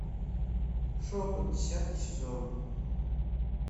шепот десятый сезон